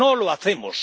No lo hacemos.